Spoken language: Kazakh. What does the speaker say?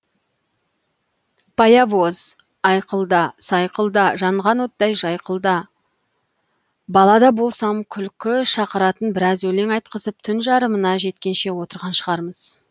паявоз айқылда сайқылда жанған оттай жайқылда бала да болсам күлкі шақыратын біраз өлең айтқызып түн жарымына жеткенше отырған шығармыз